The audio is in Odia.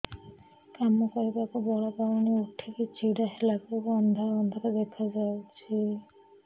କାମ କରିବାକୁ ବଳ ପାଉନି ଉଠିକି ଛିଡା ହେଲା ବେଳକୁ ଅନ୍ଧାର ଅନ୍ଧାର ଦେଖା ଯାଉଛି